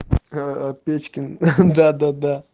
печкин да да да